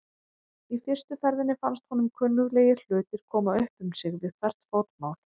Í fyrstu ferðinni fannst honum kunnuglegir hlutir koma upp um sig við hvert fótmál.